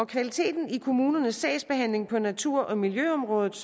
kvaliteten i kommunernes sagsbehandling på natur og miljøområdet